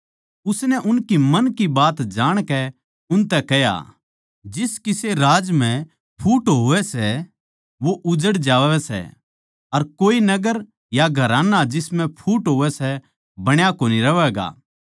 उसनै उनकै मन की बात जाणकै उनतै कह्या जिस किसे राज म्ह फूट होवै सै वो उजड़ जावै सै अर कोए नगर या घराना जिसम्ह फूट होवै सै बण्या कोनी रहवैगा